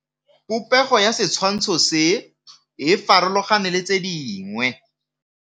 Popêgo ya setshwantshô se, e farologane le tse dingwe.